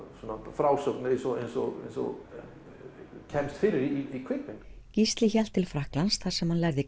frásögn eins og eins og kemst fyrir í kvikmynd Gísli hélt til Frakklands þar sem hann lærði